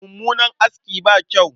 Mummunan aski ba kyau.